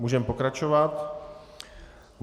Můžeme pokračovat.